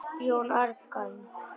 Jón Agnar?